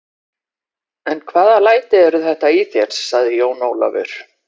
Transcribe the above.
En hvaða læti eru þetta í þér, sagði Jón Ólafur.